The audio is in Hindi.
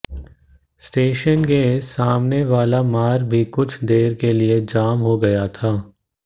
स्टेशन के सामनेवाला मार्ग भी कुछ देर के लिए जाम हो गया था